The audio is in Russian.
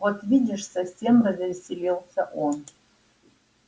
вот видишь совсем развеселился он